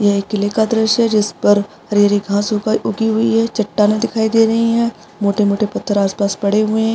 ये एक किले का दृश्य है जिसपर हरी हरी घास उग उगी हुई है चट्टाने दिखाई दे रही है मोटे मोटे पत्थर आसपास पड़े हुए है।